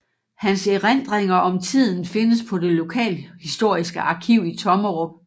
Hans erindringer om tiden findes på det lokalhistoriske arkiv i Tommerup